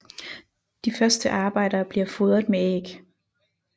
De første arbejdere bliver fodret med æg